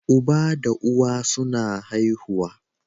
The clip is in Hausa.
Uba da uwa suna haihuwa